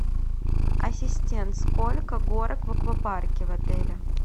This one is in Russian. ассистент сколько горок в аквапарке в отеле